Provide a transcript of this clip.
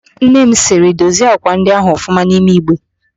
Nnem sịrị, dozie ákwà ndị ahụ ọfụma n'ime Igbe!